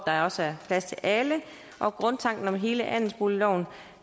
der også er plads til alle og grundtanken om hele andelsboligloven